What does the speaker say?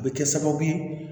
A bɛ kɛ sababu ye